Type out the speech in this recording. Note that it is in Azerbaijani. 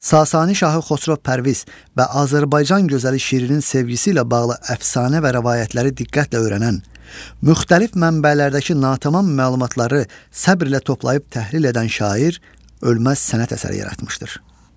Sasani şahı Xosrov Pərviz və Azərbaycan gözəli Şirinin sevgisi ilə bağlı əfsanə və rəvayətləri diqqətlə öyrənən, müxtəlif mənbələrdəki natamam məlumatları səbrlə toplayıb təhlil edən şair ölməz sənət əsəri yaratmışdır.